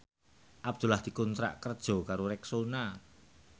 Abdullah dikontrak kerja karo Rexona